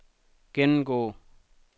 gennemgå